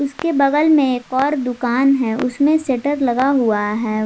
उसके के बगल में एक और दुकान है उसमें शटर लगा हुआ है।